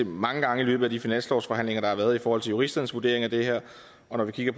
mange gange i løbet af de finanslovsforhandlinger der har været spurgt juristernes vurdering af det her og det er